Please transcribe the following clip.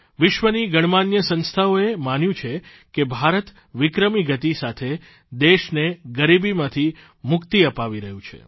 વિશ્વની ગણમાન્ય સંસ્થાઓએ માન્યું છે કે ભારત વિક્રમી ગતિની સીથે દેશને ગરીબીમાંથી મુક્તિ અપાવી રહ્યું છે